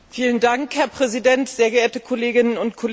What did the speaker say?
Herr Präsident, sehr geehrte Kolleginnen und Kollegen!